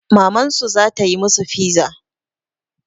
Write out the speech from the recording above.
Mamansu za ta yi masu fiza.